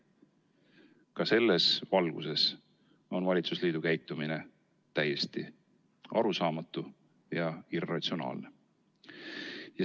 Ka selles valguses on valitsusliidu käitumine täiesti arusaamatu ja irratsionaalne.